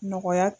Nɔgɔya